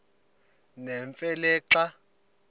nemfe le xa